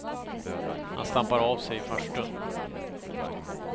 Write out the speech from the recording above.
Han stampar av sig i farstun.